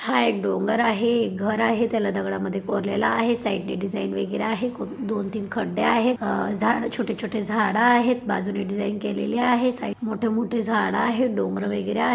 हा एक डोंगर आहे एक घर आहे त्याला दगडामधे कोरलेला आहे साईडणे डिझाईन वगैरे आहे कु दोन तीन खड्डे आहेत अ झाड छोटे छोटे झाड आहेत बाजूनी डिझाईन केलेली आहे साईड मोठ मोठ झाड आहेत डोंगर वगैरे आहे.